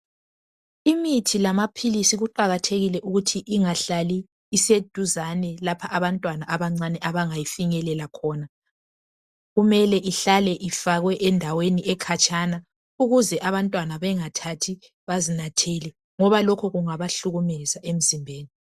Imithi lamaphilisi iqakathekile ukuthi ingahlali iseduzane lapho abantwana abancane abangafinyelela khona .Kumele ihlale Ifakwe endaweni ekhatshana ukuze abantwana bengathathi bazinathele .Ngoba lokhu kungaba hlukumeza emzimbeni .